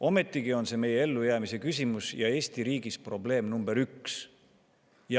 Ometigi on see meie ellujäämise küsimus ja Eesti riigis probleem number üks.